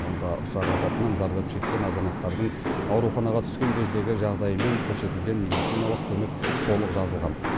онда ұшақ апатынан зардап шеккен азаматтардың ауруханаға түскен кездегі жағдайы мен көрсетілген медициналық көмек толық жазылған